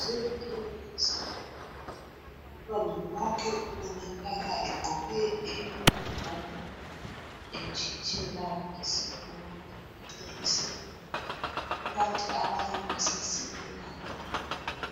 Zivuliwe izikolo umntwana wonke ubonakala egqoke iyunifomu etshitshela esikolo egaxe isikhwama kukanti abanye basasilela endabeni